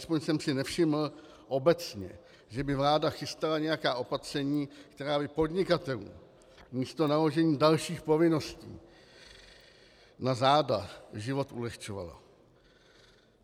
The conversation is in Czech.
Alespoň jsem si nevšiml, obecně, že by vláda chystala nějaká opatření, která by podnikatelům místo naložení dalších povinností na záda život ulehčovala.